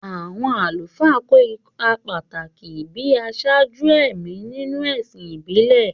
Àwọn àlùfáà kó ipa pàtàkì gẹ́gẹ́ bí aṣáájú ẹ̀mí nínú ẹ̀sìn ìbílẹ̀.